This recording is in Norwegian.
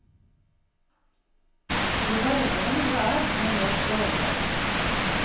Jo varmere noe er, jo mere stråler det.